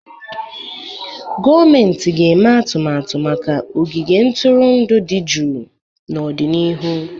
Gọọmentị ga-eme atụmatụ maka ogige ntụrụndụ dị jụụ n'ọdịnihu.